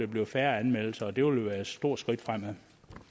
blive færre anmeldelser og det vil jo være et stort skridt fremad